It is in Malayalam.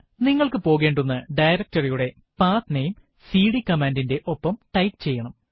നിങ്ങൾക്ക് പോകേണ്ടുന്ന directory യുടെ pathnameസിഡി കമാൻഡ് ന്റെ ഒപ്പം ടൈപ്പ് ചെയ്യണം